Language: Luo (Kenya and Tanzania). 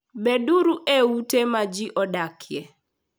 Beduru e ute ma ji odakie.